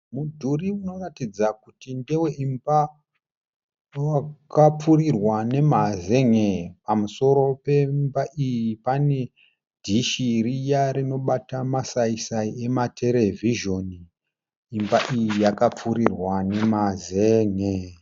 Mudhuri unoratidza kuti ndeweimba yakapfurirwa nemazen'e. Pamusoro pemba iyi pane dhishi riya rinobata masaisai ematerevhizheni. Imba iyi yakapfirirwa nemazen'e.